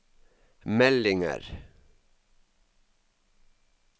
meldinger